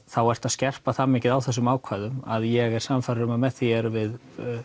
þá ætti að skerpa það mikið á þessum ákvæðum að ég er sannfærður að með því erum við